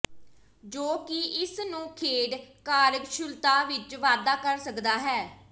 ਜੋ ਕਿ ਇਸ ਨੂੰ ਖੇਡ ਕਾਰਜਕੁਸ਼ਲਤਾ ਵਿੱਚ ਵਾਧਾ ਕਰ ਸਕਦਾ ਹੈ